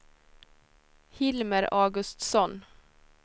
Hilmer Augustsson